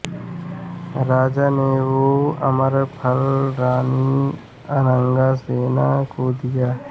राजा ने वो अमरफल रानी अनंगसेना को दिया